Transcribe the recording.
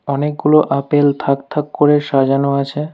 অনেকগুলো আপেল থাক থাক করে সাজানো আছে।